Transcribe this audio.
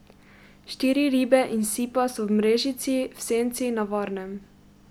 Štiri ribe in sipa so v mrežici, v senci, na varnem.